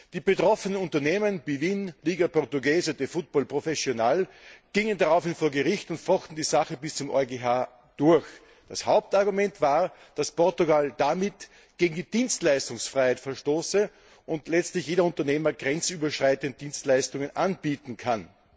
Die betroffenen Unternehmen wie BWin und Liga Portuguesa de Futebol Profissional gingen daraufhin vor Gericht und fochten die Sache bis zum EuGH durch. Das Hauptargument war, dass Portugal damit gegen die Dienstleistungsfreiheit verstoße und letztlich jeder Unternehmer grenzüberschreitend Dienstleistungen anbieten könne.